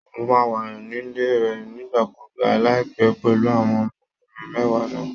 Mo máa wà nílé rẹ nígbàkúùgbà láìpẹ́ pẹ̀lú àwọn ọmọkùnrin mẹ́wàá náà